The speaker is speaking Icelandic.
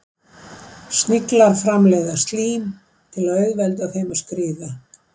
Sniglar framleiða slím til að auðvelda þeim að skríða.